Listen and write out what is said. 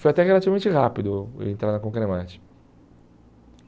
Foi até que relativamente rápido eu entrar na Concremat.